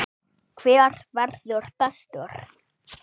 Hver verður bestur?